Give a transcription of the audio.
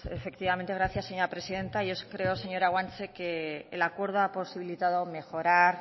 bueno pues efectivamente gracias señora presidenta yo sí creo señora guanche que el acuerdo ha posibilitado mejorar